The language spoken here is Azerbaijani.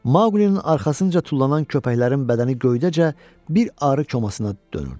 Mauqlinin arxasınca tullanılan köpəklərin bədəni göydəcə bir arı komasına dönürdü.